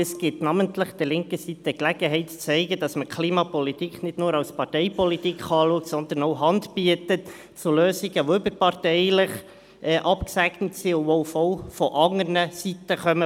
Dieser gibt der linken Seite namentlich die Gelegenheit, zu zeigen, dass man Klimapolitik nicht nur als Parteipolitik betrachten kann, sondern auch Hand geboten wird zu Lösungen, die auch überparteilich abgesegnet sind und von anderer Seite kommen.